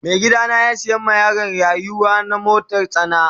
Mai gida na ya siya ma yaron yaruwana motar tsana.